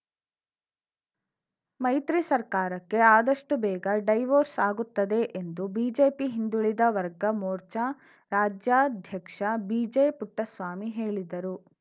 ಮೈತ್ರಿ ಸರ್ಕಾರಕ್ಕೆ ಆದಷ್ಟುಬೇಗ ಡೈವೊರ್ಸ್‌ ಆಗುತ್ತದೆ ಎಂದು ಬಿಜೆಪಿ ಹಿಂದುಳಿದ ವರ್ಗ ಮೋರ್ಚಾ ರಾಜ್ಯಾಧ್ಯಕ್ಷ ಬಿಜೆಪುಟ್ಟಸ್ವಾಮಿ ಹೇಳಿದರು